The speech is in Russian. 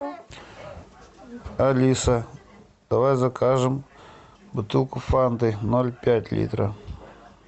алиса давай закажем бутылку фанты ноль пять литра